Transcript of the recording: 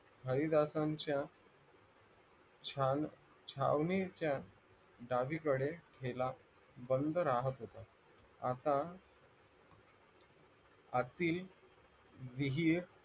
हरिदासांच्या छान छावणीच्या डावीकडे हेला बंद राहत होता आता अति विहीर